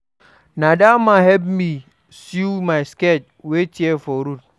Na dat man help me sew my skirt wey tear for road.